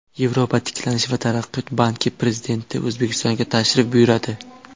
Yevropa tiklanish va taraqqiyot banki prezidenti O‘zbekistonga tashrif buyuradi.